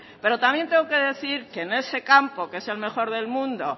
pero también tengo que decir que en ese campo que es el mejor del mundo